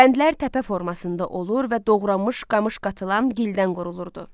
Bəndlər təpə formasında olur və doğranmış qamış qatılan gildən qurulurdu.